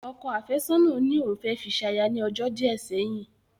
Ọkọ àfẹ́sọ̀nà ní òun fẹ́ fi ṣaya ní ọjọ́ díẹ̀ sẹ́yìn